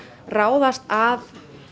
ráðast að